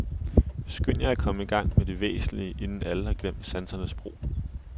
Skynd jer at komme i gang med det væsentlige, inden alle har glemt sansernes brug.